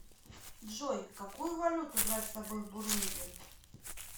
джой какую валюту брать с собой в бурунди